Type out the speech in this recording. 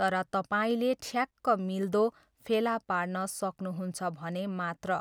तर तपाईँले ठ्याक्क मिल्दो फेला पार्न सक्नुहुन्छ भने मात्र।